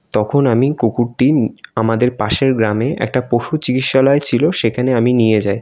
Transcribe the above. তখন আমি কুকুরটি আমাদের পাশের গ্রামে একটা পশু চিকিৎসালয় ছিল সেখানে আমি নিয়ে যাই।